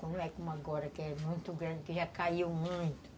Não é como agora, que é muito grande, que já caiu muito.